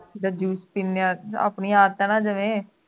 juice ਪੀਨੇ ਆਂ ਆਪਣੀ ਆਤ ਹੈ ਜਿਵੇਂ